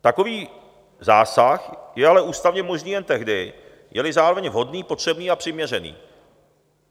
Takový zásah je ústavně možný jen tehdy, je-li zároveň vhodný, potřebný a přiměřený.